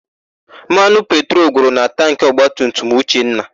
Mmanụ petrolu gwụrụ na tankị ọgbatumtum Uchenna.